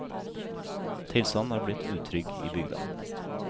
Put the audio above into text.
Tilstanden er blitt utrygg i bygda.